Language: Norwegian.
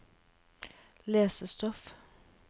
lesestoff